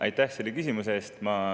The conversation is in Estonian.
Aitäh selle küsimuse eest!